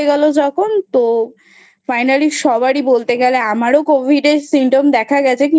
গেল যখন তো Finally সবারই বলতে গেলে আমারও Covid এর Symptom দেখা গেছে।